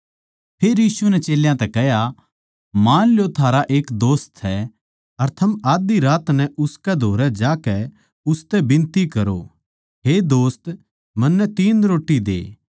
फेर यीशु नै चेल्यां तै कह्या मान लो थारा एक दोस्त सै अर थम आध्धी रात नै उसकै धोरै ज्याकै उसतै बिनती करो हे दोस्त मन्नै तीन रोट्टी दे